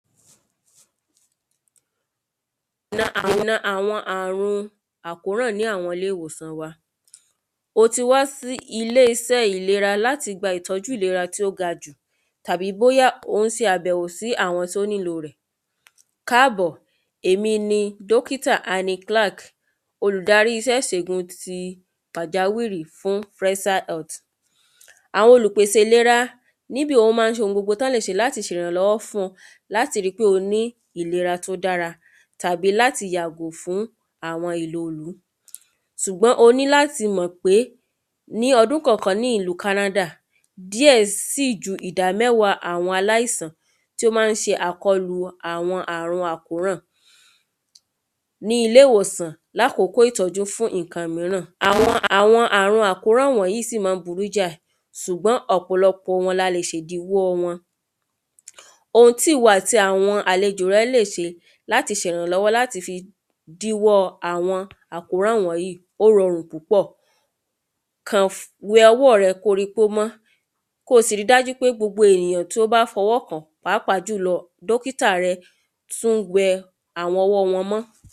Na àwọn àrùn àkóràn ní ilé ìwòsàn wa O ti wá sí ilé iṣẹ́ ìlera láti gba ìtọ́jú ìlera tó ga jù tàbí bóyá ò ń ṣe àbẹ̀wò sí àwọn tó ní ló rẹ́ Káàbọ̀ èmi ni dókítà Annie Clark olùdarí iṣẹ́ ìṣègùn ti pàjáwìrí fún fúrẹ́ṣà hẹ́lìtí Àwọn olùpèsé ìlera níbí wọ́n ma ń ṣe ohun gbogbo tán lè ṣe ìrànlọ́wọ́ fún ọ láti rí pé ó ní ìlera tó dára tàbí láti yàgò fún àwọn ìlòlú Ṣùgbọ́n o ní láti mọ̀ pé ní ọdún kọ̀ọ̀kan ní ìlú kánádà díẹ̀ sì ju ìdá mẹ́wàá àwọn aláìsàn tí ó ma ń ṣe àkọlù àwọn àrùn àkóràn Ní ilé ìwòsàn lákòókò ìtọ́jú fún nǹkan mìíràn àwọn àwọn àrùn àkóraǹ wọ̀nyìí ṣùgbọ́n ọ̀pọ̀lọpọ̀ la le ṣe ìdìwọ́ wọn Ohun tí ìwọ àti àwọn àlejò rẹ le ṣe láti ṣe ìrànlọ́wọ́ láti fi díwọ́ àwọn àkóràn wọ̀nyìí ó rọrùn púpọ̀ Kàn we ọwọ́ rẹ kó o rí i pé ó mọ́ kó o sì rí i dájú pé gbogbo ènìyàn to bá fọwọ́ kàn pàápàá jùlọ dókítà rẹ tún we àwọn ọwọ́ wọn mọ́